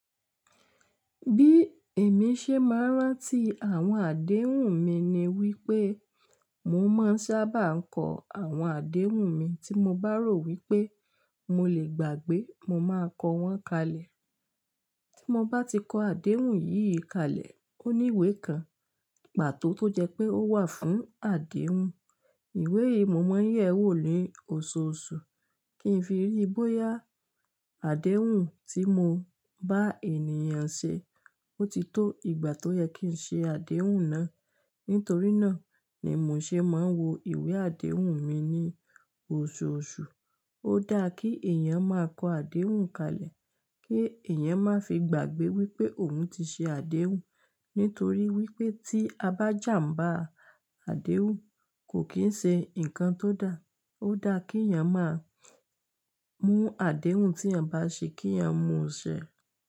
Bí èmi ṣe máa ń rántí àwọn àdéhùn mi ni wípé mo máa ń sábà kọ àwọn àdéhùn mi tí mo bá rò wípé mo lè gbàgbé mo máa kọ wọ́n kalẹ̀. Tí mo bá ti kọ àdéhùn yìí kalẹ̀, ó ní ìwé kan pàtó tó jẹ́ pé ó wà fún àdéhùn. Ìwé yìí mo máa ń yẹ̀ wò ni óòsòsù, kí n fi rí bóyá àdéhùn tí mo bá ènìyàn ṣe ó ti tó ìgbà tó yẹ kí n ṣe àdéhùn náà. Nítorí náà ni mò ṣe máa ń wo ìwé àdéhùn mi ní oṣooṣù. Ó dáà kí èèyàn máa kọ àdéhùn kalẹ̀, kí èèyàn máa fi gbàgbé wípé òun ti ṣe àdéhùn. Nítorí wípé tí a bá jàmbá àdéhùn kò kì ń ṣe nǹkan tó dà. Ó dà kí èèyàn máa mú àdéhùn tí èèyàn bá ṣe kí èèyàn mú ṣẹ.